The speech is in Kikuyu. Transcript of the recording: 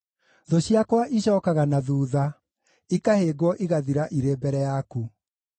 Thũ ciakwa icookaga na thuutha, ikahĩngwo igathira irĩ mbere yaku.